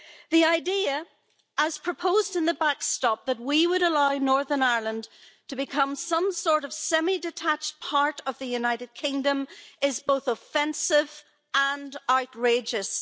The idea, as proposed in the backstop, that we would allow Northern Ireland to become some sort of semi detached part of the United Kingdom is both offensive and outrageous.